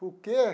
Por quê?